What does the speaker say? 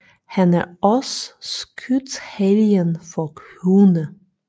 Han er også skytshelgen for hunde